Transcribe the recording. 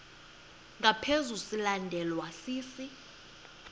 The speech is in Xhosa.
ngaphezu silandelwa sisi